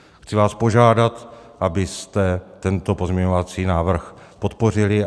Chci vás požádat, abyste tento pozměňovací návrh podpořili.